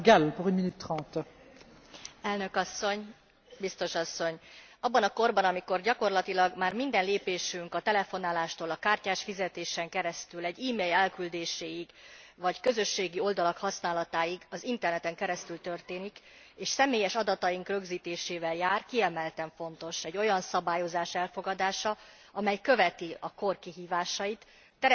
Abban a korban, amikor gyakorlatilag már minden lépésünk a telefonálástól a kártyás fizetésen keresztül egy email elküldéséig, vagy közösségi oldalak használatáig az interneten keresztül történik, és személyes adataink rögzítésével jár, kiemelten fontos egy olyan szabályozás elfogadása, amely követi a kor kihívásait, teret enged ugyan a lehetőségeknek, de képes megakadályozni a visszaéléseket.